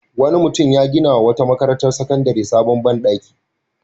Wani mutum ya ginawa wata makarantar sakandare sabon ban ɗaki.